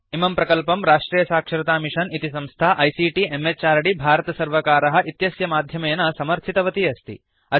इमं प्रकल्पं राष्ट्रियसाक्षरतामिषन् इति संस्था आईसीटी म्हृद् भारतसर्वकार इत्यस्य माध्यमेन समर्थितवती अस्ति